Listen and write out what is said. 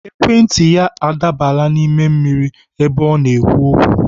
Ekwentị ya adaabala n'ime mmiri ebe ọ na-ekwu okwu.